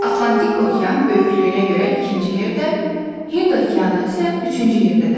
Atlantik okean böyüklüyünə görə ikinci yerdə, Hind okeanı isə üçüncü yerdə dayanır.